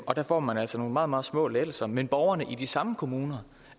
og der får man altså nogle meget meget små lettelser men borgerne i de samme kommuner